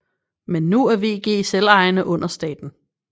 Men nu er VG selvejende under staten